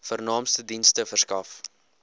vernaamste dienste verskaf